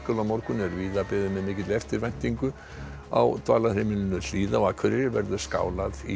á morgun er víða beðið með eftirvæntingu á Dvalarheimilinu Hlíð á Akureyri verður skálað í